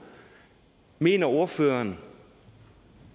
mener ordføreren